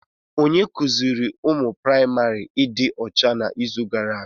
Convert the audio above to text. Onye kuziiri ụmụ praịmarị ịdị ọcha n'izu gara aga?